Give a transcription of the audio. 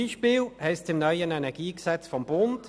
Beispielsweise heisst es in Artikel 45 Absatz 1 des neuen EnG: